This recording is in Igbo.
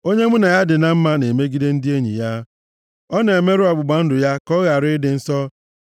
Onye mụ na ya dị na mma na-emegide ndị enyi ya, ọ na-emerụ ọgbụgba ndụ ya ka ọ ghara ịdị nsọ.